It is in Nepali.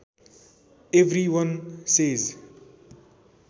every one says